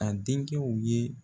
A denkɛw ye